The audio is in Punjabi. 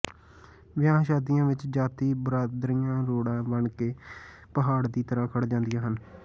ਵਿਆਹਾਂ ਸ਼ਾਦੀਆਂ ਵਿਚ ਜ਼ਾਤ ਬਰਾਦਰੀਆਂ ਰੋੜਾ ਬਣਕੇ ਪਹਾੜ ਦੀ ਤਰਾਂ ਖੜ ਜਾਂਦੀਆਂ ਹਨ